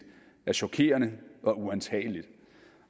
er chokerende og uantageligt